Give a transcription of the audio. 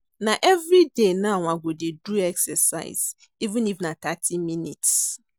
Na every day now i go dey do exercise, even if na thirty minutes.